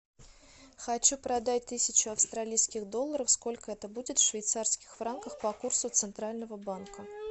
хочу продать тысячу австралийских долларов сколько это будет в швейцарских франках по курсу центрального банка